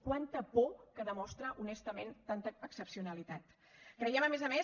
quanta por que demostra honestament tanta excepcionalitat creiem a més a més